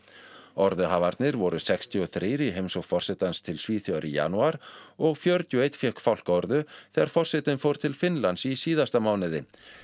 orðuhafarnir voru sextíu og þrjú í heimsókn forsetans til Svíþjóðar í janúar og fjörutíu og ein fékk fálkaorðu þegar forsetinn fór til Finnlands í síðasta mánuði